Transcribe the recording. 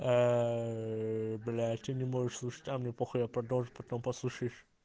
ээ блять что не можешь слушать а мне похую я продолжу потом послушаешь